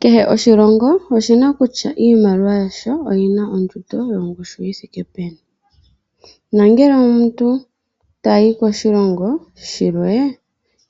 Kehe oshilongo oshina kutya iimaliwa yasho oyina ondjundo yongushu yithiike peni. Nongele omuntu tayi koshilongo shilwe,